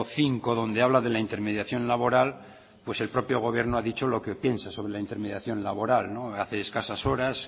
cinco donde habla de la intermediación laboral pues el propio gobierno ha dicho lo que piensa sobre la intermediación laboral hace escasas horas